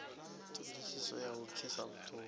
ṱhodisiso ya u pfisa vhuṱungu